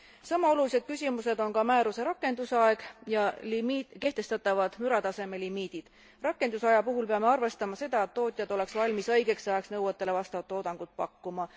Sama olulised küsimused on määruse rakendusaeg ja kehtestatavad mürataseme limiidid. Rakendusaja puhul peame arvestama seda, et tootjad oleksid valmis õigeks ajaks nõuetele vastavat toodangut pakkuma.